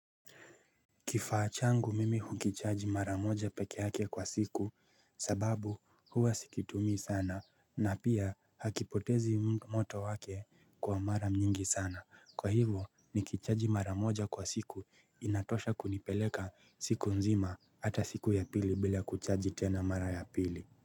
Kifaa changu mimi hukichaji mara moja peke yake kwa siku sababu huwa sikitumii sana na pia hakipotezi moto wake kwa mara nyingi sana. Kwa hivo nikichaji mara moja kwa siku inatosha kunipeleka siku nzima hata siku ya pili bila kuchaji tena mara ya pili.